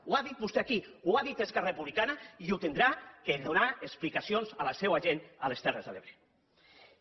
ho ha dit vostè aquí ho ha dit esquerra republicana i haurà de donar explicacions a la seua gent a les terres de l’ebre